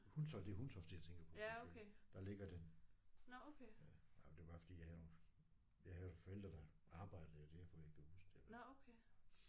Hundtofte det er Hundtofte jeg tænker på selvfølgelig. Der ligger den. Ja jamen det er bare fordi jeg havde nogle jeg havde forældre der arbejdede derfor jeg kan huske det